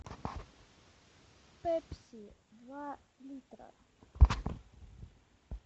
пепси два литра